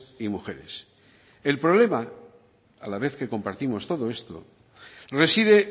y mujeres el problema a la vez que compartimos todo esto reside